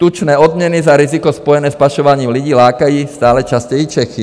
Tučné odměny za riziko spojené s pašováním lidí lákají stále častěji Čechy.